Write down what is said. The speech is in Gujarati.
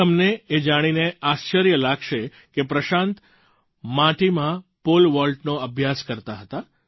તમને એ જાણીને આશ્ચર્ય લાગશે કે પ્રશાંત માટીમાં પૉલ વૉલ્ટનો અભ્યાસ કરતા હતા